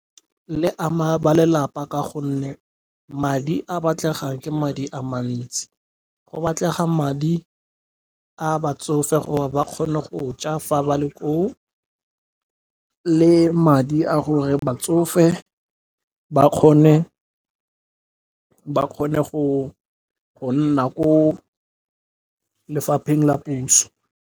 Le ama ba lelapa ka gonne madi a batlegang ke madi a mantsi. Go batlega madi a batsofe gore ba kgone go ja fa ba le ko o le madi a gore batsofe ba kgone go gonna ko lefapheng la puso.